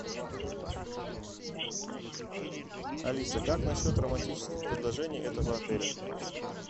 алиса как насчет романтических предложений этого отеля